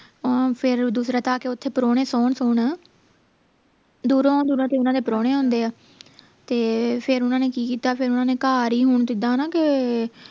ਅਹ ਫੇਰ ਦੂਸਰਾ ਆ ਕੇ ਓਥੇ ਪਰਾਹੁਣੇ ਸੌਣ ਸੌਣ ਦੂਰੋਂ ਦੂਰੋਂ ਤੇ ਓਹਨਾ ਦੇ ਪਰਾਹੁਣੇ ਆਉਂਦੇ ਹੈ ਤੇ ਫੇਰ ਓਹਨਾ ਨੇ ਕਿ ਕੀਤਾ ਫੇਰ ਓਹਨਾ ਨੇ ਘਰ ਹੀ ਹੁਣ ਜਿਦਾਂ ਨਾ ਕੇ